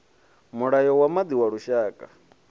mulayo wa maḓi wa lushaka